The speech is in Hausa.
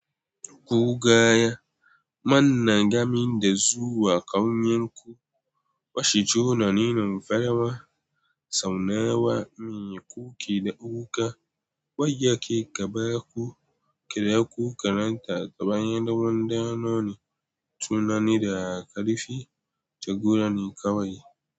Gogaya, manna gamin da zuwa ƙauyenku, bashi juna ninin farawa, saunawa, miye, kukida, wuƙa, wajja ke gaba ku kira ku karanta gaba ɗan ɗanoni tunani da ƙarifi jagora ne kawai.